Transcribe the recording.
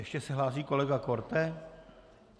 Ještě se hlásí kolega Korte?